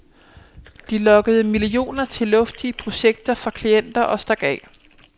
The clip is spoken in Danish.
De lokkede millioner til luftige projekter fra klienter og stak af.